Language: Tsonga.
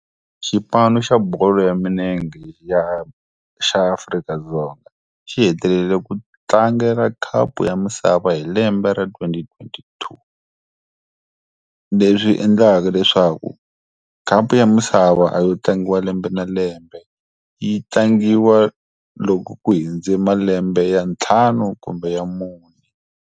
Xipano xa bolo ya milenge ya xa Afrika-Dzonga, xi hetelele ku tlangela khapu ya misava hi lembe ra twenty twenty two. Leswi endlaka leswaku, khapu ya misava a yo tlangiwa lembe na lembe yi tlangiwa loko ku hindze malembe ya ntlhanu kumbe ya mune.